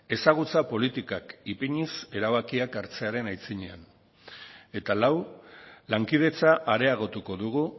ezagutza politikak ipiniz erabakiak hartzearen aitzinean eta lau lankidetza areagotuko dugu